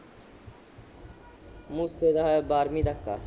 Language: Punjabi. ਮੂਸੇ ਤਾਂ ਬਾਰਵੀਂ ਤੱਕ ਆ